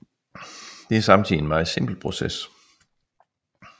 Det er samtidig en meget simpel proces